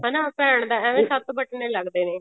ਹਨਾ ਭੈਣ ਦਾ ਐਵੇਂ ਸੱਤ ਬਟਨੇ ਲੱਗਦੇ ਨੇ